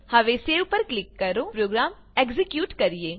હવે સેવ પર ક્લિક કરો પ્રોગ્રામ એક્ઝીક્યુટ કરીએ